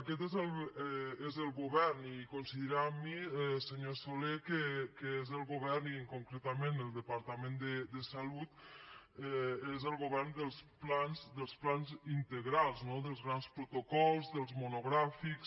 aquest és el govern i coincidirà amb mi senyor soler que és el govern i concretament el departament de salut dels plans integrals no dels grans protocols dels monogràfics